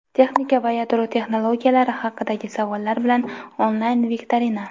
texnika va yadro texnologiyalari haqidagi savollar bilan onlayn viktorina.